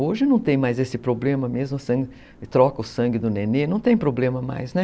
Hoje não tem mais esse problema mesmo, troca o sangue do nenê, não tem problema mais.